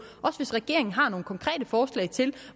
også hvis regeringen har nogle konkrete forslag til